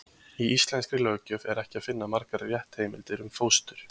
Í íslenskri löggjöf er ekki að finna margar réttarheimildir um fóstur.